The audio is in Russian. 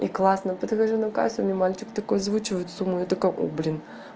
и классно подхожу на кассу мне мальчик такой озвучивает сумму я такая о блин